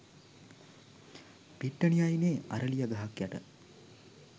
පිට්ටනිය අයිනෙ අරලිය ගහක් යට.